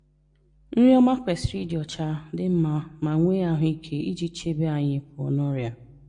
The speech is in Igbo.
Nri ọma kwesịrị ịdị ọ́cha, dị mma, ma nwee ahụ́ike iji chebe anyị pụọ na ọrịa.